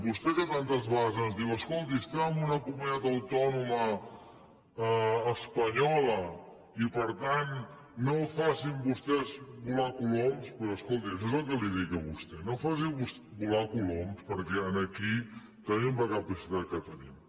vostè que tantes vegades ens diu escolti estem en una comunitat autònoma espanyola i per tant no facin vostès volar coloms doncs escolti això és el que li dic a vostè no faci volar coloms perquè aquí tenim la capacitat que tenim